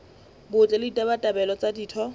botle le ditabatabelo tsa ditho